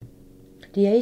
DR1